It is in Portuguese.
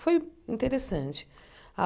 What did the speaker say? Foi interessante. Ah